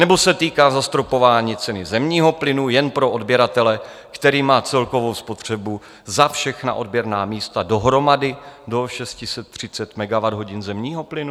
Nebo se týká zastropování ceny zemního plynu jen pro odběratele, který má celkovou spotřebu za všechna odběrná místa dohromady do 630 MWh zemního plynu?"